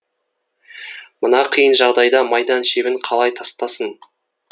мына қиын жағдайда майдан шебін қалай тастасын